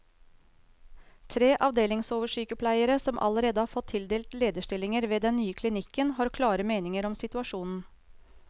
Tre avdelingsoversykepleiere, som allerede har fått tildelt lederstillinger ved den nye klinikken, har klare meninger om situasjonen.